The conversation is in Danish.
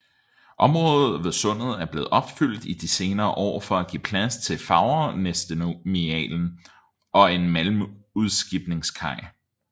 Området ved sundet er blevet opfyldt i de senere år for at give plads til Fagernesterminalen og en malmudskibningskaj